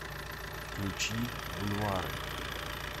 включи бульвары